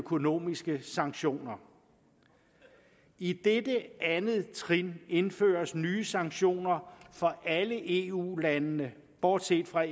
økonomiske sanktioner i dette andet trin indføres nye sanktioner for alle eu lande bortset fra